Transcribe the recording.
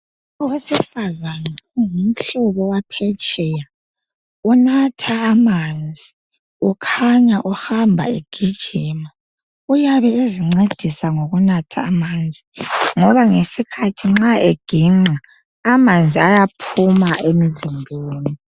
Owesifazana ungumhlobo waphesheya unatha amanzi, ukhanya uhamba egijima. Uyabe ezincedisa ngokunatha amanzi ngoba ngesikhathi nxa eginqa amanzi ayaphuma emzimbeni.